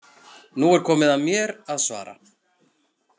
Nú er komið að mér að svara.